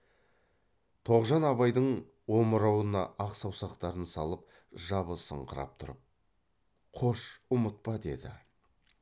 тоғжан абайдың омырауына ақ саусақтарын салып жабысыңқырап тұрып қош ұмытпа деді